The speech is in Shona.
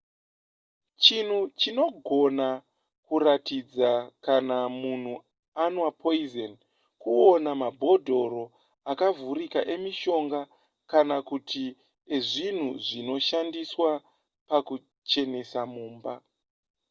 chinhu chinogona kuratidza kana munhu anwa poison kuona mabhodhoro akavhurika emishonga kana kuti ezvinhu zvinoshandiswa pakuchenesa mumba